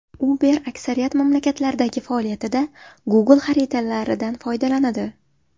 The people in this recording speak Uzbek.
Uber aksariyat mamlakatlardagi faoliyatida Google xaritalaridan foydalanadi.